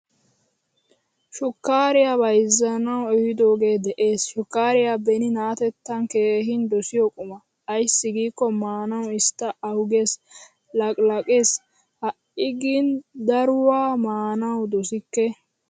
Shukkariyaa bayzanawu ehidoge de'ees. Shukariya beni naatettan keehin dosiyo quma. Aysi giko maanawu isstta ahuggees, laqilaqees. Hai gin daruwaa maanawu dosikke.